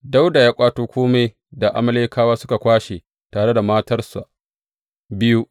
Dawuda ya ƙwato kome da Amalekawa suka kwashe tare da matarsa biyu.